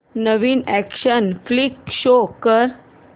नवीन action flick show कर